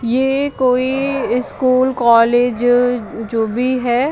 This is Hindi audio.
ये कोई स्कूल कॉलेज जो भी है--